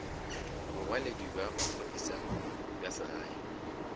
bongwaledi bja maphodisa bja segae